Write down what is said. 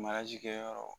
kɛyɔrɔ